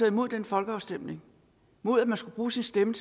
imod den folkeafstemning mod at man skulle bruge sin stemme